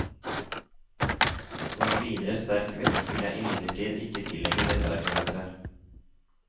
Noen videre sterk vekt vil jeg imidlertid ikke tillegge dette argumentet.